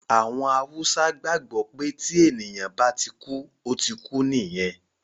Àwọn Haúsá gbàgbọ́ pé tí ènìyàn bá ti kú, ó ti kú nìyẹn